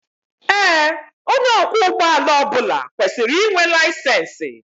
Ee onye ọkwọ ụgbọ ọbula kwesịrị ịnwe layisensi